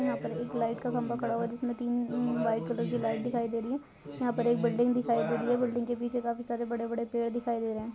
यहाँ एक लाइट का खंबा पड़ा हुआ है जिसमे तीन तीन व्हाइट कलर की लाइट दिखाई दे रही है यहाँ पर एक बिल्डिंग दिखाई दे रही है बिल्डिंग के पीछे काफी सारे बड़े बड़े पेड़ दिखाई दे रहे है।